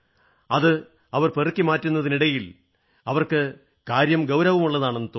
അത് പെറുക്കി മാറ്റുന്നതിനിടയിൽ അവർക്ക് കാര്യം ഗൌരവമുള്ളതാണെന്നു തോന്നി